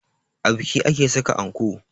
A biki ake saka anko